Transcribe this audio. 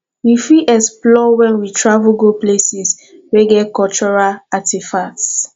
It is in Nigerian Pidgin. we fit explore when we travel go places wey get cultural artefacts